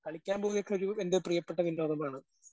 കളിക്കാൻ പോവുകക്കെ ഒരൂ എൻ്റെ പ്രിയപ്പെട്ട വിനോദമാണ്.